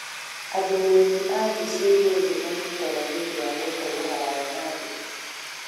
athũrĩmĩ a thĩĩ cĩa ĩgũrũ nimanyĩtaga nĩundũ wa gũkorwo haraya na thĩĩ